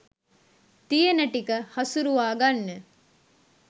තියෙන ටික හසුරවා ගන්න